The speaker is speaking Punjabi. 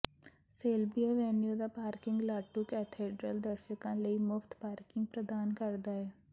ਸੇਲਬੀ ਐਵਨਿਊ ਦਾ ਪਾਰਕਿੰਗ ਲਾਟੂ ਕੈਥੇਡ੍ਰਲ ਦਰਸ਼ਕਾਂ ਲਈ ਮੁਫਤ ਪਾਰਕਿੰਗ ਪ੍ਰਦਾਨ ਕਰਦਾ ਹੈ